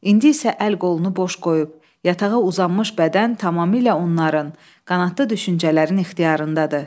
İndi isə əl-qolunu boş qoyub, yatağa uzanmış bədən tamamilə onların, qanadlı düşüncələrin ixtiyarındadır.